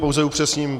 Pouze upřesním.